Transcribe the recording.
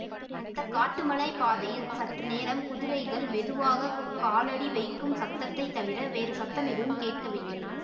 அந்த காட்டுமலை பாதையில் சற்று நேரம் குதிரைகள் மெதுவாக காலடி வைக்கும் சத்தத்தைத் தவிர வேறு சத்தம் எதுவும் கேட்கவில்லை